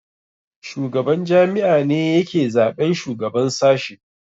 Shugaban jami'a ne yake zaɓen shugaban sashe